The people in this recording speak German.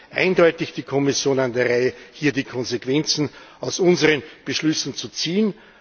Es ist eindeutig die Kommission an der Reihe, hier die Konsequenzen aus unseren Beschlüssen zu ziehen.